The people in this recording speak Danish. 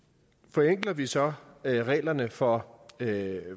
forenkler vi så reglerne for